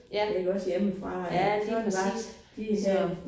Ja ja lige præcis så